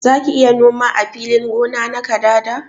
Zaki iya noma ã filin gona na kadada?